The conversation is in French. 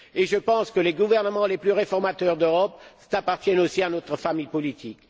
Je pense que les gouvernements les plus réformateurs d'Europe appartiennent aussi à notre famille politique.